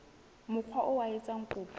mokga oo a etsang kopo